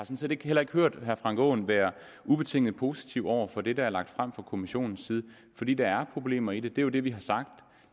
set heller ikke hørt herre frank aaen være ubetinget positiv over for det der er lagt frem fra kommissionens side fordi der er problemer i det det er jo det vi har sagt